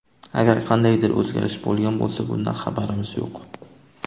Agar qandaydir o‘zgarish bo‘lgan bo‘lsa bundan xabarimiz yo‘q.